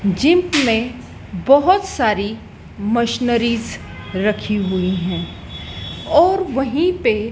gym में बहुत सारी मशनरीज रखी हुई हैं और वहीं पे --